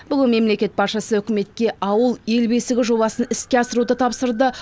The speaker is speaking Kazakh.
бүгін мемлекет басшысы үкіметке ауыл ел бесігі жобасын іске асыруды тапсырды